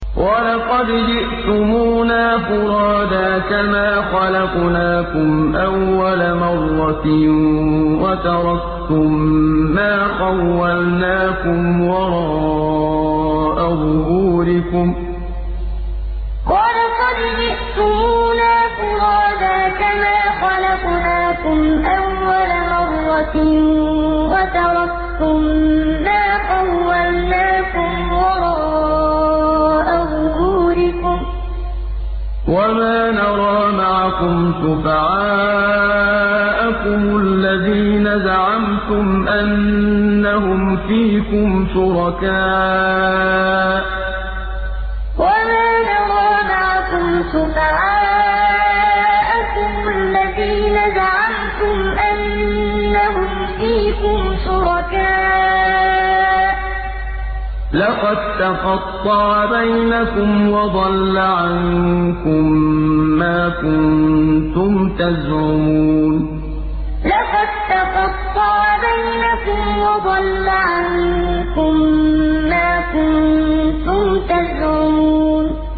وَلَقَدْ جِئْتُمُونَا فُرَادَىٰ كَمَا خَلَقْنَاكُمْ أَوَّلَ مَرَّةٍ وَتَرَكْتُم مَّا خَوَّلْنَاكُمْ وَرَاءَ ظُهُورِكُمْ ۖ وَمَا نَرَىٰ مَعَكُمْ شُفَعَاءَكُمُ الَّذِينَ زَعَمْتُمْ أَنَّهُمْ فِيكُمْ شُرَكَاءُ ۚ لَقَد تَّقَطَّعَ بَيْنَكُمْ وَضَلَّ عَنكُم مَّا كُنتُمْ تَزْعُمُونَ وَلَقَدْ جِئْتُمُونَا فُرَادَىٰ كَمَا خَلَقْنَاكُمْ أَوَّلَ مَرَّةٍ وَتَرَكْتُم مَّا خَوَّلْنَاكُمْ وَرَاءَ ظُهُورِكُمْ ۖ وَمَا نَرَىٰ مَعَكُمْ شُفَعَاءَكُمُ الَّذِينَ زَعَمْتُمْ أَنَّهُمْ فِيكُمْ شُرَكَاءُ ۚ لَقَد تَّقَطَّعَ بَيْنَكُمْ وَضَلَّ عَنكُم مَّا كُنتُمْ تَزْعُمُونَ